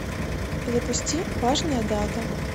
запусти важная дата